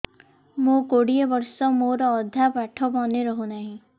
ମୋ କୋଡ଼ିଏ ବର୍ଷ ମୋର ଅଧା ପାଠ ମନେ ରହୁନାହିଁ